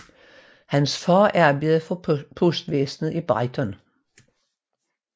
Hans far arbejdede for postvæsnet i Brighton